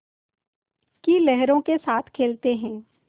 की लहरों के साथ खेलते हैं